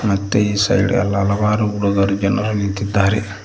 ಮತ್ತೇ ಈ ಸೈಡ್ ಹಲವಾರು ಹುಡುಗರು ಜನರು ನಿಂತಿದ್ದಾರೆ.